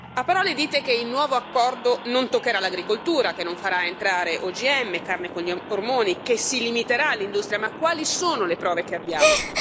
A parole, dite che il nuovo accordo non toccherà l'agricoltura, che non farà entrare OGM, carne con gli ormoni e che si limiterà l'industria. Ma quali sono le prove che abbiamo?